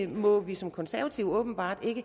må vi som konservative åbenbart ikke